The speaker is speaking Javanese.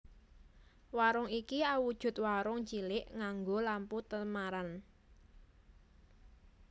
Warung iki awujud warung cilik nganggo lampu temaram